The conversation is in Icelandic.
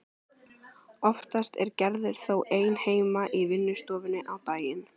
Oftast er Gerður þó ein heima í vinnustofunni á daginn.